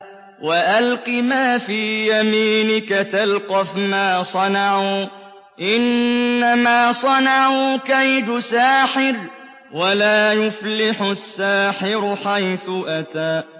وَأَلْقِ مَا فِي يَمِينِكَ تَلْقَفْ مَا صَنَعُوا ۖ إِنَّمَا صَنَعُوا كَيْدُ سَاحِرٍ ۖ وَلَا يُفْلِحُ السَّاحِرُ حَيْثُ أَتَىٰ